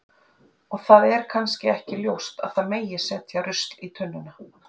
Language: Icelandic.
og það er kannski ekki ljóst að það megi setja rusl í tunnuna